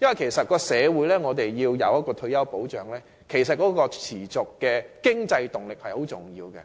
因為社會若要提供退休保障，持續的經濟動力是很重要的。